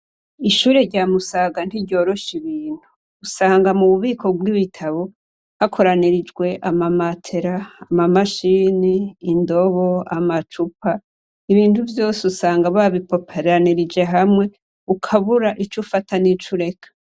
Ishure rya Musaga ntiryorosha ibintu. Usanga mu bubiko bw'ibitabo hakoranirijwe ama matera, ama mashini, indobo, amacupa... Ibintu vyose usanga babipoperanirije hamwe ukabura ico ufata nico ureka.